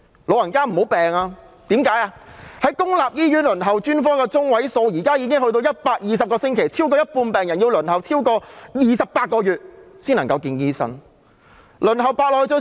現時公立醫院專科的輪候時間中位數已高達120個星期，超過一半病人要輪候超過28個月才能獲醫生接見。